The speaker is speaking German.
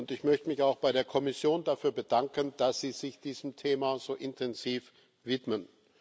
Ich möchte mich auch bei der Kommission dafür bedanken, dass Sie sich diesem Thema so intensiv widmen.